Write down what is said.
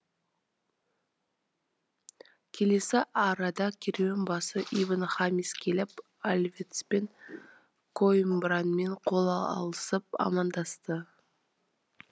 келесі арада керуенбасы ибн хамис келіп альвецпен коимбрамен қол алысып амандасты